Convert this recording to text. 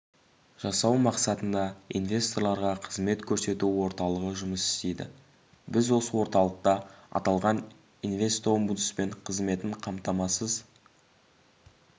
жасау мақсатында инвесторларға қызмет көрсету орталығы жұмыс істейді біз осы орталықта аталған инвестомбудсмен қызметін қамтамасыз